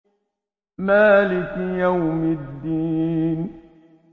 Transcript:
مَالِكِ يَوْمِ الدِّينِ